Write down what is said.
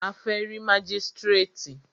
A fẹ́ rí mágístrètì.